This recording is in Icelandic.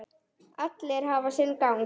Allt hafi sinn gang.